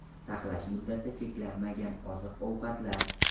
Saqlash muddati cheklanmagan oziq-ovqatlar.